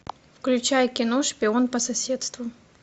включай кино шпион по соседству